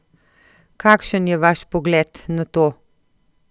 Kakšen je vaš pogled na to?